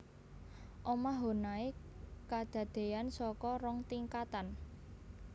Omah Honai kadadéan saka rong tingkatan